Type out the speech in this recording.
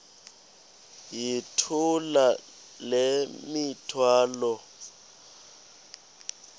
yithula le mithwalo